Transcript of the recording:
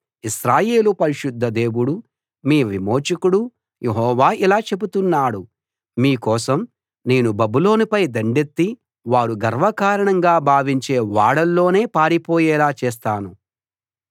ఇశ్రాయేలు పరిశుద్ధ దేవుడు మీ విమోచకుడు యెహోవా ఇలా చెబుతున్నాడు మీ కోసం నేను బబులోనుపై దండెత్తి వారు గర్వకారణంగా భావించే ఓడల్లోనే పారిపోయేలా చేస్తాను